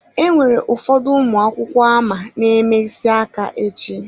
Enwere ụfọdụ ụmụ akwụkwọ ama na-eme isi aka echi.